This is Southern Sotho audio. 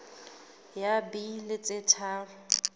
ya b di be tharo